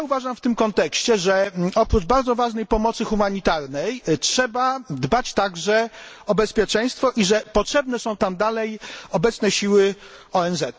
W tym kontekście uważam, że oprócz bardzo ważnej pomocy humanitarnej trzeba dbać także o bezpieczeństwo i że potrzebne są tam dalej obecne siły ONZ.